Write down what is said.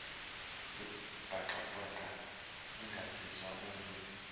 buxhakaxhaka egadiswe omnye